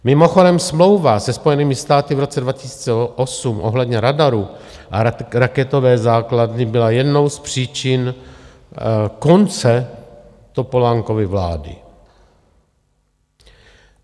Mimochodem smlouva se Spojenými státy v roce 2008 ohledně radarů a raketové základny byla jednou z příčin konce Topolánkovy vlády.